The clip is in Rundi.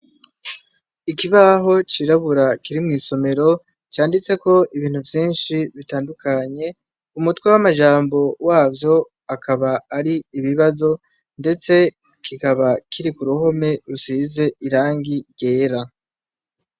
ikibaho cirabura kiri mw'isomero, canditseko ibintu vyinshi bitandukanye, umutwe w'amajambo wavyo bikaba ari ibibazo ndetse kikaba kiri ku ruhome rusize irangi ryera.